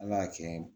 Ala y'a kɛ